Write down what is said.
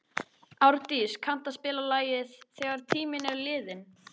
Árdís, kanntu að spila lagið „Þegar tíminn er liðinn“?